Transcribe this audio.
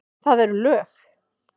Það eru lög!